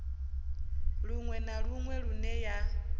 luṅwe na luṅwe lune ya